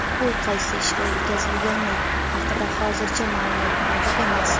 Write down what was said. U qaysi ishga o‘tkazilgani haqida hozircha ma’lumot mavjud emas.